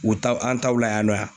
U taw ,an taw la yan nɔ.